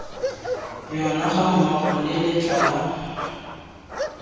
yona gammogo le letla la